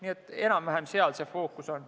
Nii et enam-vähem seal see fookus on.